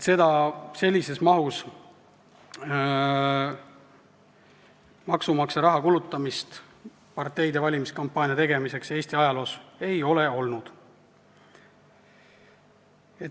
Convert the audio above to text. Sellises mahus maksumaksja raha kulutamist parteide valimiskampaania tegemiseks Eesti ajaloos ei ole olnud.